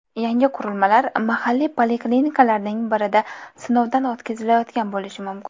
Yangi qurilmalar mahalliy poliklinikalardan birida sinovdan o‘tkazilayotgan bo‘lishi mumkin.